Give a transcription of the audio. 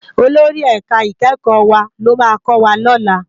Ólóri èká ikèékò wá ló má kòwá lòlá